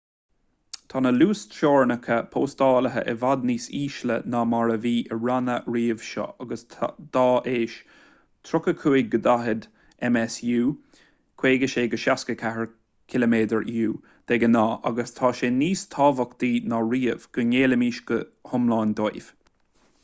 tá na luasteorainneacha postáilte i bhfad níos ísle ná mar a bhí i ranna roimhe seo agus dá éis — 35-40 msu 56-64 km/u de ghnáth — agus tá sé níos tábhachtaí ná riamh go ngéillfimis go hiomlán dóibh